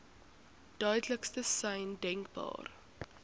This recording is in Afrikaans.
duidelikste sein denkbaar